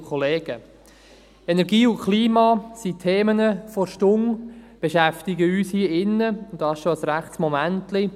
Die Energie und das Klima sind Themen der Stunde, sie beschäftigen uns hier drin, und das schon seit einer Weile.